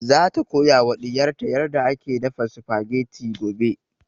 Za ta koya wa ɗiyar ta yarda ake dafa spaghetti gobe